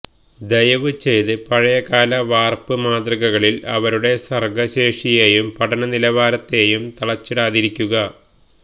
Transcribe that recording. ദയവ് ചെയ്ത് പഴയകാല വാർപ്പ് മാതൃകകളിൽ അവരുടെ സർഗ ശേഷിയേയും പഠന നിലവാരത്തേയും തളച്ചിടാതിരിക്കുക